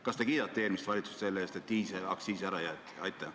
Kas te kiidate eelmist valitsust selle eest, et diislikütuse aktsiisi tõstmine ära jäeti?